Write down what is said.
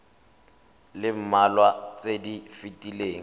le mmalwa tse di fetileng